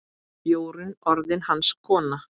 Jórunn orðin hans kona.